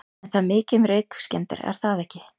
En það er mikið um reykskemmdir er það ekki?